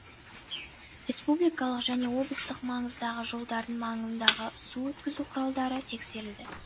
республикалық және облыстық маңыздағы жолдардың маңындағы су өткізу құралдары тексерілді